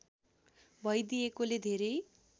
भइदिएकोले धेरै